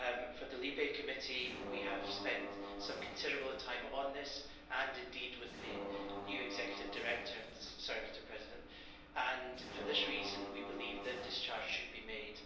For the LIBE Committee, we have spent some considerable time on this, and indeed with the new Executive Director, and for this reason, we believe that discharge should be made.